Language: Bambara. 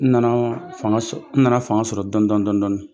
N nana fanga sɔ n nana fanga sɔrɔ dɔɔnin-dɔɔnin-dɔɔnin-dɔɔnin